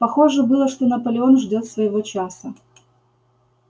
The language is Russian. похоже было что наполеон ждёт своего часа